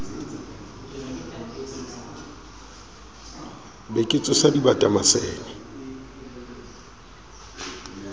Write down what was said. be ke tsosa dibata masene